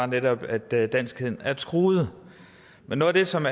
netop er at danskheden er truet men noget af det som